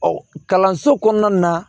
Ɔ kalanso kɔnɔna na